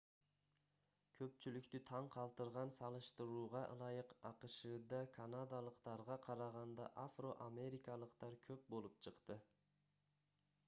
көпчүлүктү таң калтырган салыштырууга ылайык акшда канадалыктарга караганда афро-америкалыктар көп болуп чыкты